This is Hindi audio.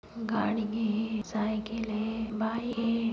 गाड़ी हे साइकिल हे बाइक हे।